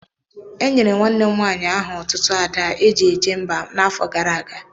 E nyere nwanne m nwaanyị aha otutu Ada eji eje mba n'afọ gara aga.